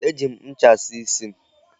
E ji m ncha saa isi m.